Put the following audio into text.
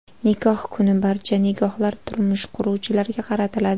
Nikoh kuni barcha nigohlar turmush quruvchilarga qaratiladi.